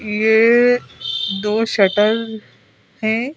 ये दो शटर हैं।